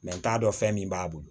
n t'a dɔn fɛn min b'a bolo